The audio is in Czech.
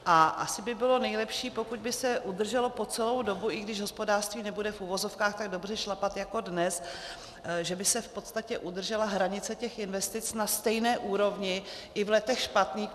A asi by bylo nejlepší, pokud by se udrželo po celou dobu, i když hospodářství nebude v uvozovkách tak dobře šlapat jako dnes, že by se v podstatě udržela hranice těch investic na stejné úrovni i v letech špatných.